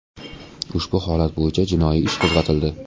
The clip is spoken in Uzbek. Ushbu holat bo‘yicha jinoiy ish qo‘zg‘atildi.